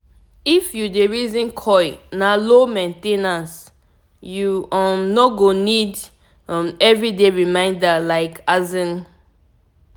if u dey reason coil na low main ten ance -u um no go need um everyday reminder like asin